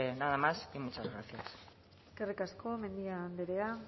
nada más y muchas gracias eskerrik asko mendia andrea